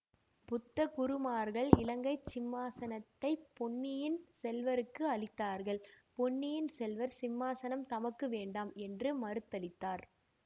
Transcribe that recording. புத்த குருமார்கள் இலங்கை சிம்மாசனத்தைப் பொன்னியின் செல்வருக்கு அளித்தார்கள் பொன்னியின் செல்வர் சிம்மாசனம் தமக்கு வேண்டாம் என்று மறுதளித்தார்